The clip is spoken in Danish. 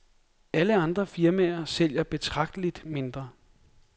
Alle andre firmaer sælger betragteligt mindre.